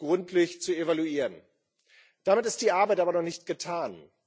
gründlich zu evaluieren. Damit ist die Arbeit aber noch nicht getan.